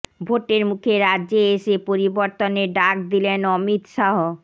ভোটের মুখে রাজ্যে এসে পরিবর্তনের ডাক দিলেন অমিত শাহ